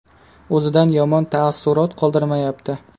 O‘zidan yomon taassurot qoldirmayapti.